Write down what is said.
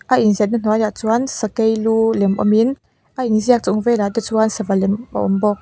a in ziahna hnuaiah chuan sakei lu lem awm in a in ziak chung velah te chuan sava lem a awm bawk.